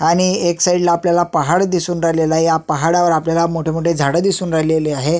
आणि एक साइड ला आपल्याला पहाड दिसून राहिलेले आहे या पहाडवर आपल्याला मोठेमोठे झाड दिसून राहिलेले आहे.